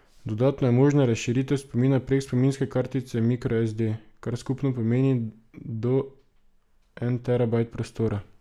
Dodatno je možna razširitev spomina prek spominske kartice microSD, kar skupno pomeni do en terabajt prostora.